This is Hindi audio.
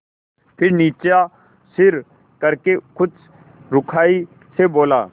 फिर नीचा सिर करके कुछ रूखाई से बोला